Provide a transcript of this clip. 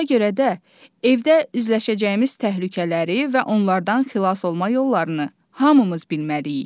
Ona görə də evdə üzləşəcəyimiz təhlükələri və onlardan xilas olma yollarını hamımız bilməliyik.